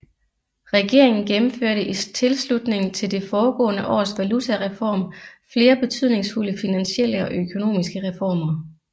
Regeringen gennemførte i tilslutning til det foregående års valutareform flere betydningsfulde finansielle og økonomiske reformer